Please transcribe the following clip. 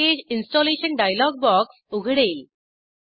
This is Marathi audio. पॅकेज इंस्टॉलेशन डायलॉग बॉक्स उघडेल